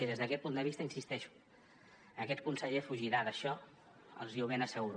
i des d’aquest punt de vista hi insisteixo aquest conseller fugirà d’això els hi ho ben asseguro